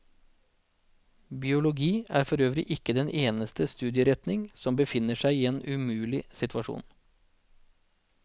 Biologi er forøvrig ikke den eneste studieretning som befinner seg i en umulig situasjon.